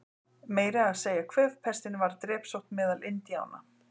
Meira að segja kvefpestin varð drepsótt meðal Indíána.